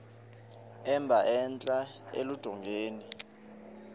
emba entla eludongeni